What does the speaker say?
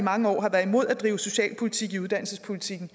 mange år har været imod at drive socialpolitik i uddannelsespolitikken